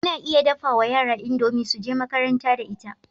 Ana iya dafawa yara idomie suje makaranta da ita